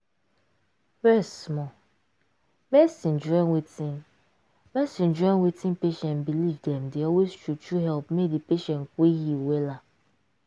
rest small. medicine join wetin medicine join wetin patient believe dem dey always true true help make di patient quick heal wella.